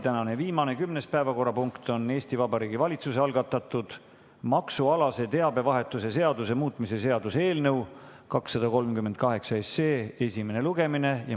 Tänane viimane, kümnes päevakorrapunkt on Vabariigi Valitsuse algatatud maksualase teabevahetuse seaduse muutmise seaduse eelnõu 238 esimene lugemine.